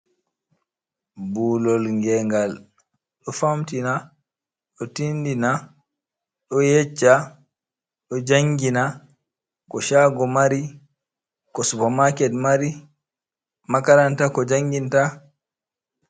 Ɓuulol nge'ngal ɗo famtina, ɗo tindina, ɗo yecca, ɗo jangina ko chago mari, ko supermarket mari. Makaranta ko janginta